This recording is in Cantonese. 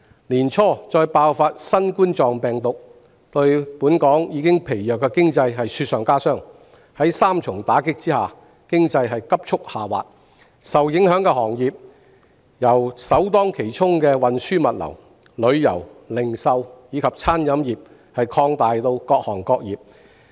年初再爆發新冠病毒疫情，令香港疲弱的經濟雪上加霜，在三重打擊下，經濟急速下滑，受影響行業由首當其衝的運輸物流、旅遊、零售及餐飲業，擴大至各行各業。